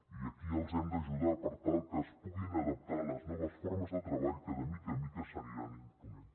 i aquí els hem d’ajudar per tal que es puguin adaptar a les noves formes de treball que de mica en mica s’aniran imposant